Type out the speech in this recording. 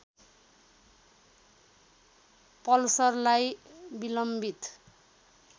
पल्सरलाई विलम्बित